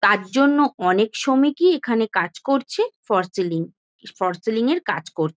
তার জন্য শ্রমিকই এখানে কাজ করছে ফর সিলিং ফর সিলিং এর কাজ করছে।